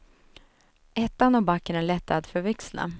Ettan och backen är lätta att förväxla.